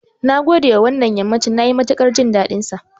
Nagode da wannan yammacin, nayi matuƙar jin daɗinsa.